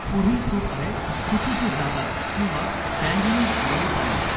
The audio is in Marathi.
पुढील चूक आहे चुकीची जागा किंवा डँग्लींग मॉडिफायर.